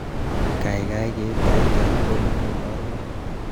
Kaikai ker taitab kotnyu naruwe